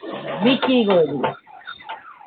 বিক্রিই করে দিলো।